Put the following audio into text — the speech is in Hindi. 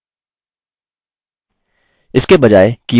अब कुछ और अक्षर टाइप करें